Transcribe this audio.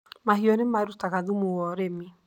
Mahiũ nĩ marutaga thumu wa ur irĩmi.